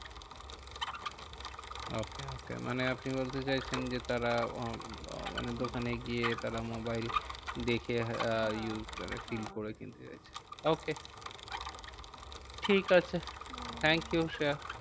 Okay okay মানে আপনি বলতে চাইছেন যে তারা মানে দোকানে হম গিয়ে তারা মোবাইল দেখে হ্যাঁ use করে হ্যাঁ fill করে কিনতে চাইছে। okay ঠিক আছে হম thank you শ্রেয়া।